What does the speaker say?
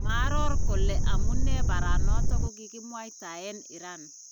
Maaaror kole amunee bareet noton kokikimwaytaen iran .